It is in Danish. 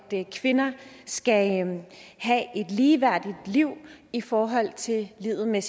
kvinder skal have et ligeværdigt liv i forhold til livet med